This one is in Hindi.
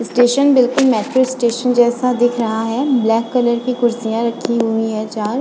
स्टेशन बिल्कुल मेट्रो स्टेशन जैसा दिख रहा है ब्लैक कलर की कुर्सियां रखी हुई है चार --